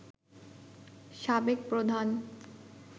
সাবেক প্রধান